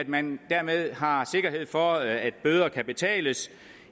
man dermed har sikkerhed for at bøder kan betales